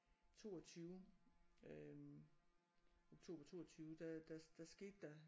22 øh oktober 22 der der der skete der